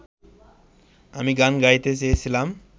আমি গান গাইতে চেয়েছিলাম